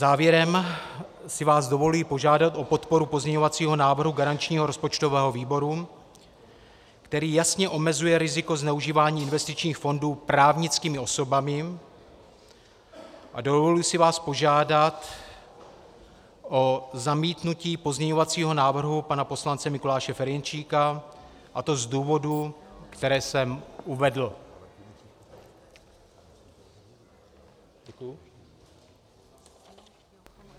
Závěrem si vás dovoluji požádat o podporu pozměňovacího návrhu garančního rozpočtového výboru, který jasně omezuje riziko zneužívání investičních fondů právnickými osobami, a dovoluji si vás požádat o zamítnutí pozměňovacího návrhu pana poslance Mikuláše Ferjenčíka, a to z důvodů, které jsem uvedl.